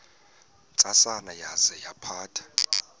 ntsasana yaza yaphatha